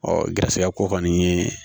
Ɔ garisɛgɛ ko kɔni ye